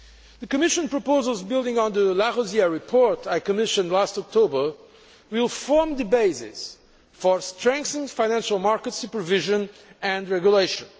The Commission proposals building on the de Larosière report I commissioned last October will form the basis for strengthened financial market supervision and regulation.